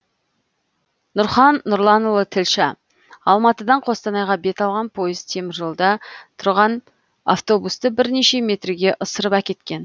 нұрхан нұрланұлы тілші алматыдан қостанайға бет алған пойыз теміржолда тұрған автобусты бірнеше метрге ысырып әкеткен